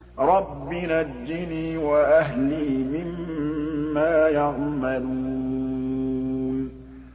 رَبِّ نَجِّنِي وَأَهْلِي مِمَّا يَعْمَلُونَ